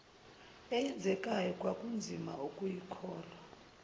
eyenzekayo kwakunzima ukuyikholwa